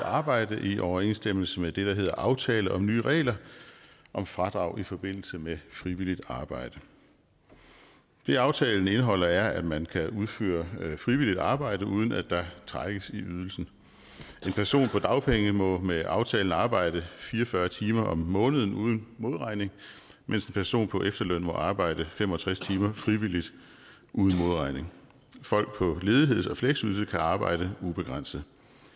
arbejde i overensstemmelse med det der hedder aftale om nye regler om fradrag i forbindelse med frivilligt arbejde det aftalen indeholder er at man kan udføre frivilligt arbejde uden at der trækkes i ydelsen en person på dagpenge må med aftalen arbejde fire og fyrre timer om måneden uden modregning mens en person på efterløn må arbejde fem og tres timer frivilligt uden modregning folk på ledigheds og fleksydelse kan arbejde ubegrænset